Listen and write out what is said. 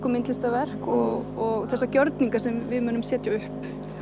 og myndlistarverk og þessa gjörninga sem við munum setja upp